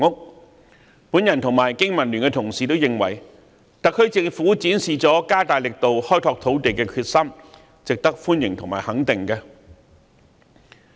我和香港經濟民生聯盟的同事均認為，特區政府展示了加大力度開拓土地的決心，值得歡迎和肯定。